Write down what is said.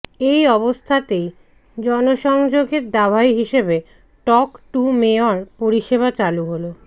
এই অবস্থাতেই জনসংযোগের দাওয়াই হিসেবে টক টু মেয়র পরিষেবা চালু হল